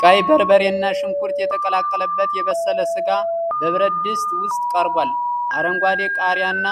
ቀይ በርበሬና ሽንኩርት የተቀላቀለበት የበሰለ ሥጋ በብረት ድስት ውስጥ ቀርቧል። አረንጓዴ ቃሪያና